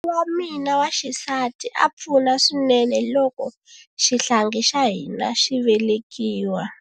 N'wingi wa mina wa xisati a pfuna swinene loko xihlangi xa hina xi velekiwa.